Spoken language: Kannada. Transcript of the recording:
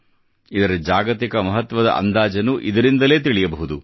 ಇದರ ಜಾಗತಿಕ ಮಹತ್ವದ ಅಂದಾಜನ್ನು ಇದರಿಂದಲೇ ತಿಳಿಯಬಹುದು